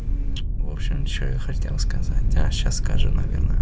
в общем что я хотел сказать я сейчас скажу наверное